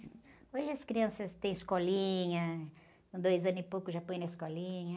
Hoje as crianças têm escolinha, com dois anos e pouco já põe na escolinha.